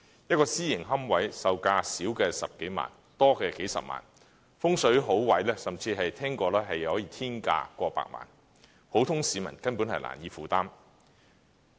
一個私營龕位售價少則十數萬元，多則數十萬元，風水好位甚至聽過可以達天價過百萬元，普通市民根本難以負擔。